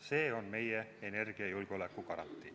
See on meie energiajulgeoleku garantii.